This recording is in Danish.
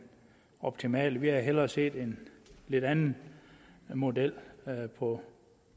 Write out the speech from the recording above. optimale vi havde hellere set en lidt anden model på